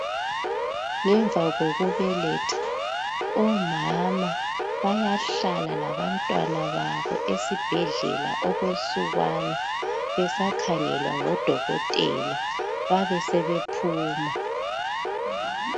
Ngemva kokubeletha, omama bayahlala labantwana babo esibhedlela okwensukwana besakhangelwa ngo dokotela babe sebephuma